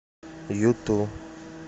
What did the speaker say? юту